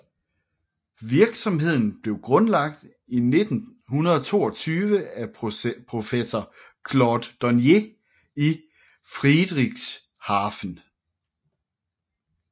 Virksomheden blev grundlagt i 1922 af professor Claude Dornier i Friedrichshafen